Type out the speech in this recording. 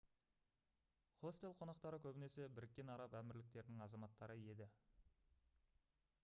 хостел қонақтары көбінесе біріккен араб әмірліктерінің азаматтары еді